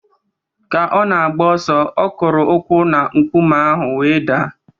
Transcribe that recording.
Ka ọ na-agba ọsọ, ọ kụrụ ukwu na nkume ahụ o wee daa